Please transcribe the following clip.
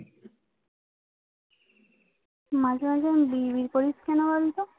মাঝে মাঝে এমন বিড়বিড় করিস কেন বলতো?